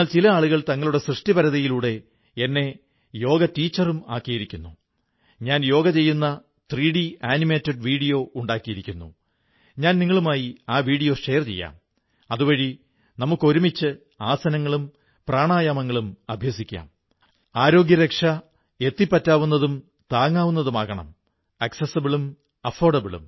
നമുക്ക് നമ്മുടെ സൃഷ്ടിപരതയിലൂടെ സ്നേഹത്തിലൂടെ എല്ലായ്പ്പോഴും ശ്രമപ്പെട്ടു ചെയ്യുന്ന നമ്മുടെ ചെറിയ ചെറിയ പ്രവർത്തനങ്ങളിലൂടെ ഏക് ഭാരത് ശ്രേഷ്ഠ ഭാരതത്തിന്റെ സുന്ദരവർണ്ണങ്ങളെ മുന്നോട്ടു കൊണ്ടുവരണം ഐക്യത്തിന്റെ പുതിയ നിറങ്ങൾ നിറയ്ക്കണം എല്ലാ പൌരൻമാാരും അതു ചെയ്യണം